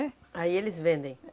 É. Aí eles vendem?